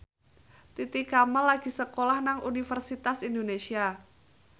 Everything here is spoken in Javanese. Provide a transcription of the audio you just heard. Titi Kamal lagi sekolah nang Universitas Indonesia